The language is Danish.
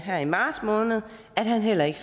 her i marts måned at han heller ikke